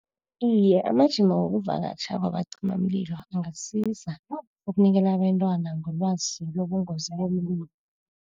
Iye amajima wokuvakatjha kwabacimimlilo angasiza ukunikela abentwana ngelwazi lobungozi bomlilo.